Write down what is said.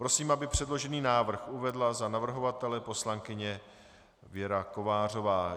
Prosím, aby předložený návrh uvedla za navrhovatele poslankyně Věra Kovářová.